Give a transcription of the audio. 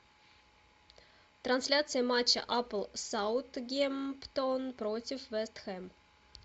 трансляция матча апл саутгемптон против вест хэм